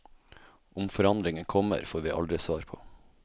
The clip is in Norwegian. Om forandringen kommer, får vi aldri svar på.